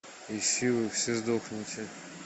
ищи вы все сдохните